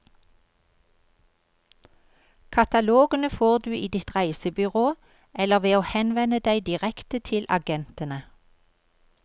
Katalogene får du i ditt reisebyrå, eller ved å henvende deg direkte til agentene.